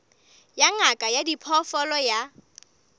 ya ngaka ya diphoofolo ya